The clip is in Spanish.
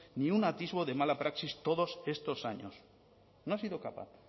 ni un atisbo de mala praxis todos estos años no ha sido capaz